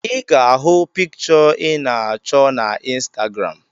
I ga-ahụ pikịshọ ị na achọ na Instagram